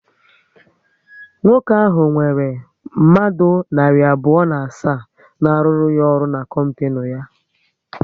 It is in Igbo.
Nwoke ahụ nwere mmadụ narị abụọ na asaa na aruru ya ọrụ n'kompinu ya